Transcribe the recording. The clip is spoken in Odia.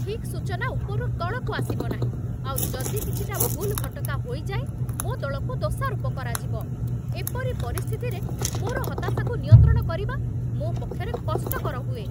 ଠିକ୍ ସୂଚନା ଉପରୁ ତଳକୁ ଆସିବନାହିଁ, ଆଉ ଯଦି କିଛି ଭୁଲ୍‌ଭଟକା ହୋଇଯାଏ ମୋ ଦଳକୁ ଦୋଷାରୋପ କରାଯିବ, ଏପରି ପରିସ୍ଥିତିରେ ମୋର ହତାଶାକୁ ନିୟନ୍ତ୍ରଣ କରିବା ମୋ ପକ୍ଷରେ କଷ୍ଟକର ହୁଏ।